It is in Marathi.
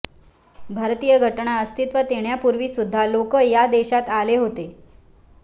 भारतीय घटना अस्तित्वात येण्यापूर्वी सुद्धा लोक या देशात आले होते